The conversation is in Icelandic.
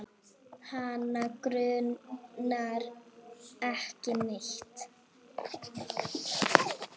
Hana grunar ekki neitt.